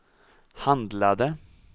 handlade